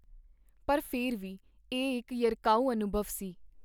ਪਰ ਫੇਰ ਵੀ ਇਹ ਇਕ ਯਰਕਾਊ ਅਨੁਭਵ ਸੀ.